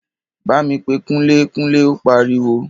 Bámi pe kunlé-kunlé! Ó pariwo.